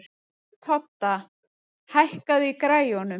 Todda, hækkaðu í græjunum.